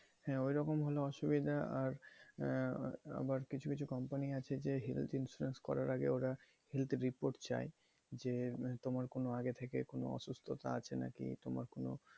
হ্যাঁ ওইরকম হলে অসুবিধা আর আহ আবার কিছু কিছু company আছে যে health insurance করার আগে ওরা health report চায় যে তোমার কোনো আগে থেকে কোনো অসুস্থতা আছে নাকি তোমার কোনো,